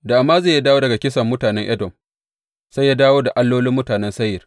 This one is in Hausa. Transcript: Da Amaziya ya dawo daga kisan mutanen Edom, sai ya dawo da allolin mutanen Seyir.